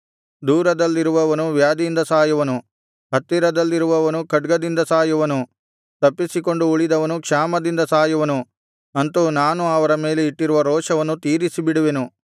ದೂರದಲ್ಲಿರುವವನು ವ್ಯಾಧಿಯಿಂದ ಸಾಯುವನು ಹತ್ತಿರದಲ್ಲಿರುವವನು ಖಡ್ಗದಿಂದ ಸಾಯುವನು ತಪ್ಪಿಸಿಕೊಂಡು ಉಳಿದವನು ಕ್ಷಾಮದಿಂದ ಸಾಯುವನು ಅಂತು ನಾನು ಅವರ ಮೇಲೆ ಇಟ್ಟಿರುವ ರೋಷವನ್ನು ತೀರಿಸಿಬಿಡುವೆನು